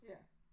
Ja